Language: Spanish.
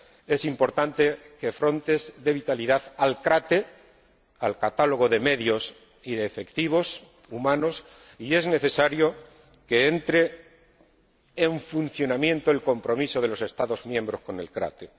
Es importante que Frontex dé vitalidad a CRATE al catálogo de medios y de efectivos humanos, y es necesario que entre en funcionamiento el compromiso de los Estados miembros con CRATE